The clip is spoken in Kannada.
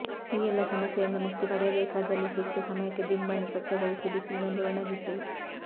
ಈ ಎಲ್ಲ ಸಮಸ್ಯೆಯಿಂದ ಮುಕ್ತಿ ಪಡೆಯಬೇಕಾದಲ್ಲಿ ಸೂಕ್ತ ಸಮಯಕ್ಕೆ ದಿಂಬನ್ನು ಸ್ವಚ್ಛಗೊಳಿಸಿ ಬಿಸಿಲಿನಲ್ಲಿ ಒಣಗಿಸಿ